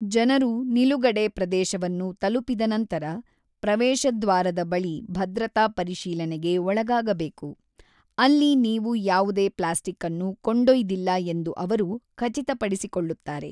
ಜನರು ನಿಲುಗಡೆ ಪ್ರದೇಶವನ್ನು ತಲುಪಿದ ನಂತರ, ಪ್ರವೇಶ ದ್ವಾರದ ಬಳಿ ಭದ್ರತಾ ಪರಿಶೀಲನೆಗೆ ಒಳಗಾಗಬೇಕು, ಅಲ್ಲಿ ನೀವು ಯಾವುದೇ ಪ್ಲಾಸ್ಟಿಕ್ ಅನ್ನು ಕೊಂಡೊಯ್ದಿಲ್ಲ ಎಂದು ಅವರು ಖಚಿತಪಡಿಸಿಕೊಳ್ಳುತ್ತಾರೆ.